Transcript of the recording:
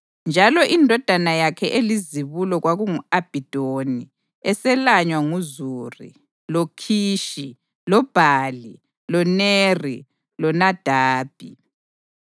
njalo indodana yakhe elizibulo kwakungu-Abhidoni eselanywa nguZuri, loKhishi, loBhali, loNeri, loNadabi,